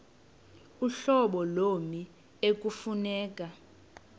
uhlobo lommi ekufuneka